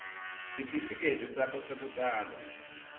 sitifiketi sakho sekutalwa